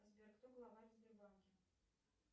сбер кто главарь в сбербанке